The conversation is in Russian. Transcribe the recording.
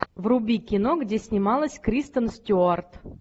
вруби кино где снималась кристен стюарт